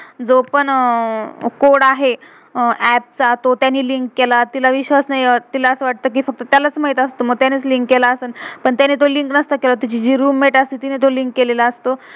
जो पण अह कोड code आहे आप app चा, तो त्याने लिंक link केला. तिला विश्वास नाही, तिला असं वाटतं कि फ़क्त त्यालाच माहित असतं, मग त्यानेच लिंक link केला असेल. पण त्याने तो लिंक नसतं केला, तीची जी रूम-मेट roommate आसते तिने तो लिंक link केलेला असतो.